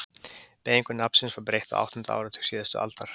Beygingu nafnsins var breytt á áttunda áratug síðustu aldar.